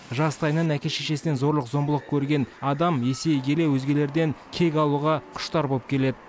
жастайынан әке шешесінен зорлық зомбылық көрген адам есейе келе өзгелерден кек алуға құштар болып келеді